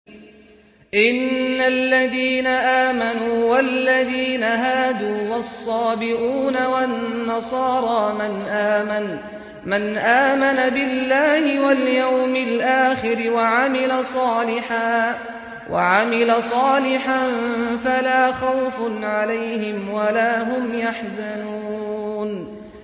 إِنَّ الَّذِينَ آمَنُوا وَالَّذِينَ هَادُوا وَالصَّابِئُونَ وَالنَّصَارَىٰ مَنْ آمَنَ بِاللَّهِ وَالْيَوْمِ الْآخِرِ وَعَمِلَ صَالِحًا فَلَا خَوْفٌ عَلَيْهِمْ وَلَا هُمْ يَحْزَنُونَ